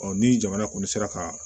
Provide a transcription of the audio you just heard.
ni jamana kɔni sera ka